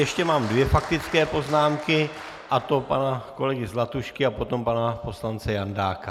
Ještě mám dvě faktické poznámky, a to pana kolegy Zlatušky a potom pana poslance Jandáka.